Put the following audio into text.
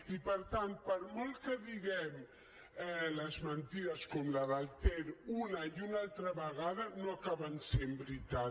i per tant per molt que diguem les mentides com la del ter una i una altra vegada no acaben sent veritat